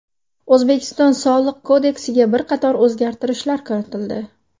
O‘zbekiston Soliq kodeksiga bir qator o‘zgartirishlar kiritildi.